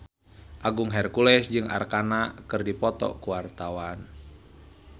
Agung Hercules jeung Arkarna keur dipoto ku wartawan